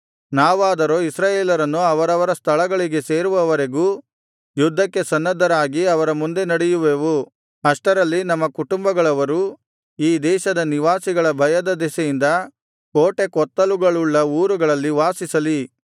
ನಾವಾದರೋ ಇಸ್ರಾಯೇಲರನ್ನು ಅವರವರ ಸ್ಥಳಗಳಿಗೆ ಸೇರಿಸುವವರೆಗೂ ಯುದ್ಧಕ್ಕೆ ಸನ್ನದ್ಧರಾಗಿ ಅವರ ಮುಂದೆ ನಡೆಯುವೆವು ಅಷ್ಟರಲ್ಲಿ ನಮ್ಮ ಕುಟುಂಬಗಳವರು ಈ ದೇಶದ ನಿವಾಸಿಗಳ ಭಯದ ದೆಸೆಯಿಂದ ಕೋಟೆಕೋತ್ತಲುಗಳುಳ್ಳ ಊರುಗಳಲ್ಲಿ ವಾಸಿಸಲಿ